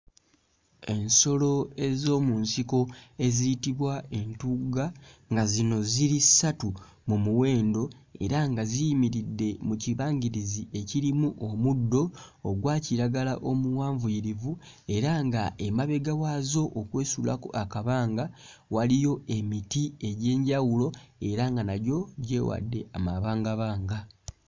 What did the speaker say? Ensolo ez'omu nsiko eziyitbwa entugga nga zino ziri ssatu mu muwendo era nga ziyimiridde mu kibangirizi ekirimu omuddo ogwa kiragala omuwanvuyirivu era nga emabega waazo okwesuulako akabanga waliyo emiti egy'enjawulo era nga nagyo gyewadde amabangabanga.